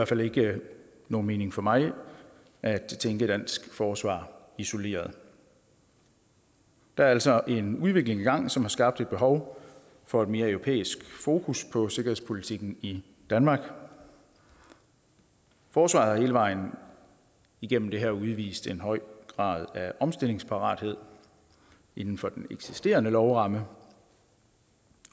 fald ikke nogen mening for mig at tænke dansk forsvar isoleret der er altså en udvikling i gang som har skabt et behov for et mere europæisk fokus på sikkerhedspolitikken i danmark forsvaret har hele vejen igennem det her udvist en høj grad af omstillingsparathed inden for den eksisterende lovramme